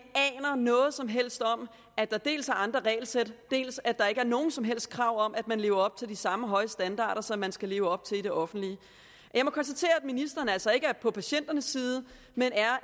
aner noget som helst om at der dels er andre regelsæt dels at der ikke er nogen som helst krav om at man lever op til de samme høje standarder som man skal leve op til i det offentlige jeg må konstatere at ministeren altså ikke er på patienternes side men